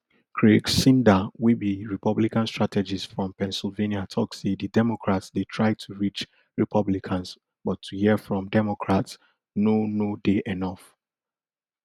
craig synder wey be republican strategist from pennsylvania tok say di democrats dey try to reach republicans but to hear from democrats no no dey enof